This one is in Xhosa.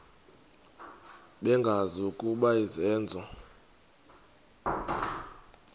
bengazi ukuba izenzo